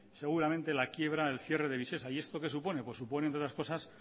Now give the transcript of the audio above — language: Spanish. seguramente la quiebra el cierre de visesa y esto que supone pues supone entre otras cosas